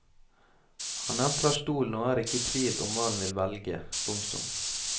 Han entrer stolen og er ikke i tvil om hva han vil velge. punktum